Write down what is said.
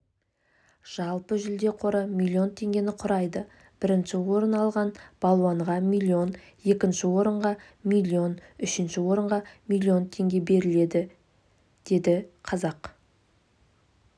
жалпы жүлде қоры млн теңгені құрайды бірінші орын алған балуанға миллион екінші орынға миллион үшінші орынға миллион теңге беріледі деді қазақ